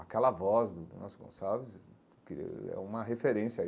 Aquela voz do do Nelson Gonçalves que é uma referência aí.